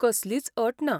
कसलीच अट ना.